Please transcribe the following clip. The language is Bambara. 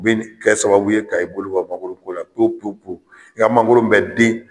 U bi kɛ sababu ye ka i bolo bɔ mangɔoro ko la pewu pewu. I ka mangoRo bɛ den